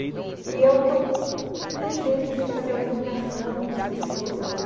E é o que eu desejo assim fazer a divulgação para as pessoas, né